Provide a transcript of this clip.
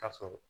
Ka sɔrɔ